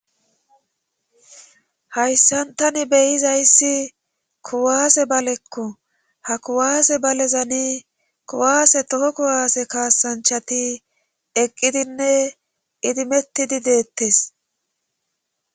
hayssantani beyizayssi kuwaase balekko ha kuwaase balezani kuwaase toho kuwaase kaasanchati eqqidinne idimettidi deettes